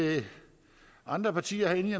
andre partier herinde